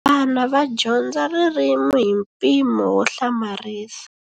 Vana va dyondza ririmi hi mpimo wo hlamarisa.